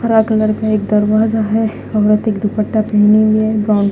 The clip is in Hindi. हरा कलर का एक दरवाजा है औरत एक दुपट्टा पहने हुए है ब्राउन --